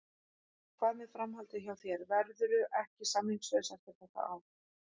Hvað með framhaldið hjá þér, verðurðu ekki samningslaus eftir þetta ár?